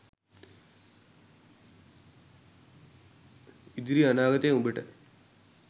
ඉදිරි අනාගතය උබට